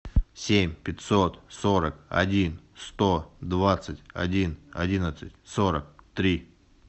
семь пятьсот сорок один сто двадцать один одиннадцать сорок три